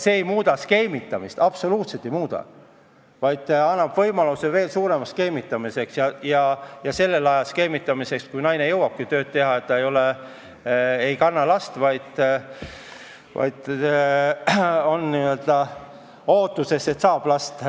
See ei kaota skeemitamist, absoluutselt ei kaota, vaid annab võimaluse veel suuremaks skeemitamiseks ja sellel ajal skeemitamiseks, kui naine jõuabki tööl käia, sest ta ei kanna last, vaid on n-ö ootuses, et saab lapse.